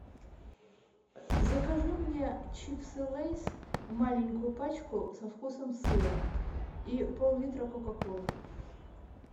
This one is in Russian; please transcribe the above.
закажи мне чипсы лэйс маленькую пачку со вкусом сыра и пол литра кока колы